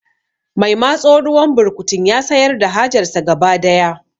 Mai matso ruwan burkutun ya sayar da hajar sa gaba daya